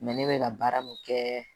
ne bɛ ka baara min kɛ